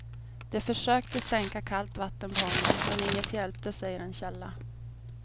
De försökte stänka kallt vatten på honom men inget hjälpte, säger en källa.